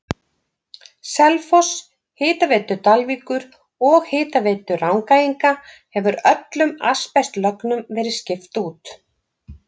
Selfoss, Hitaveitu Dalvíkur og Hitaveitu Rangæinga hefur öllum asbestlögnum verið skipt út.